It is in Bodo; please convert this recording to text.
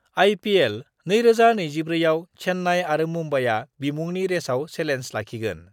आइपिएल 2024 आव चेन्नाइ आरो मुम्बाइआ बिमुंनि रेसआव सेलेन्ज लाखिगोन